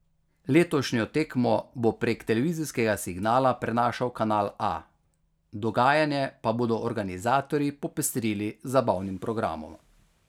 Letošnjo tekmo bo prek televizijskega signala prenašal Kanal A, dogajanje pa bodo organizatorji popestrili z zabavnim programom.